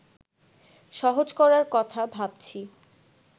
সহজ করার কথা ভাবছি